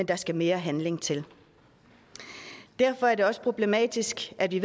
der skal mere handling til derfor er det også problematisk at vi